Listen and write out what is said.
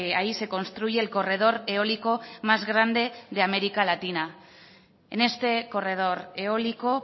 ahí se construye el corredor eólico más grande de américa latina en este corredor eólico